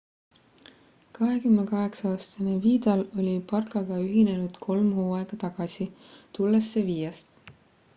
28-aastane vidal oli barcaga ühinenud kolm hooaega tagasi tulles sevillast